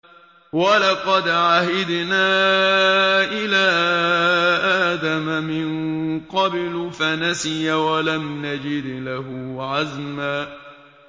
وَلَقَدْ عَهِدْنَا إِلَىٰ آدَمَ مِن قَبْلُ فَنَسِيَ وَلَمْ نَجِدْ لَهُ عَزْمًا